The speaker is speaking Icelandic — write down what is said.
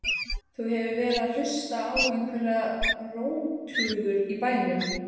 Þú hefur verið að hlusta á einhverjar rógtungur í bænum!